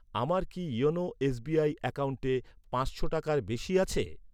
আমার কি YONO SBI অ্যাকাউন্টে পাঁচশো টাকার বেশি টাকা আছে?